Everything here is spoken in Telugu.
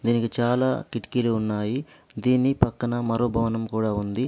దీనికి చాలా కిటికీలు ఉన్నాయి. దీని పక్కన మరో భవనం కూడా ఉంది.